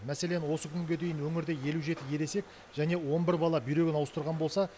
мәселен осы күнге дейін өңірде елу жеті ересек және он бір бала бүйрегін ауыстырған болса